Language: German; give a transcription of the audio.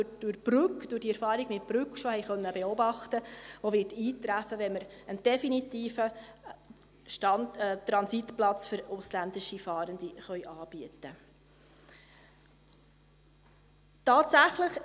Durch Brügg, durch die Erfahrung mit Brügg haben wir bereits beobachten können, dass er eintreffen wird, wenn wir einen definitiven Transitplatz für ausländische Fahrende anbieten können.